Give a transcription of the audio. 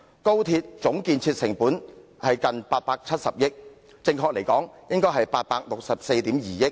高鐵總建設成本近870億元，準確數字應為864億 2,000 萬元。